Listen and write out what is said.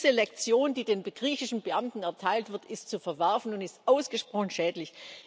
Diese Lektion, die den griechischen Beamten erteilt wird, ist zu verwerfen und ist ausgesprochen schädlich.